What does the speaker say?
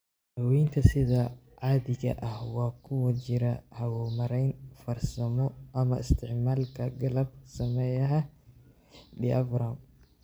Daawaynta sida caadiga ah waxaa ku jira hawo-mareen farsamo ama isticmaalka qalab-sameeyaha diaphragm.